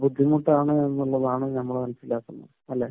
ബുദ്ധിമുട്ടാണ് എന്നുള്ളതാണ് നമ്മൾ മനസ്സിലാക്കുന്നത്. അല്ലെ?